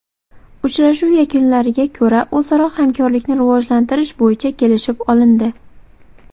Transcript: Uchrashuv yakunlariga ko‘ra o‘zaro hamkorlikni rivojlantirish bo‘yicha kelishib olindi.